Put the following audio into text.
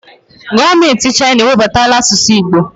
Gọọmenti Chaịna ewebatala asụsụ Igbo